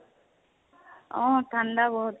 অ ঠান্দা বহুত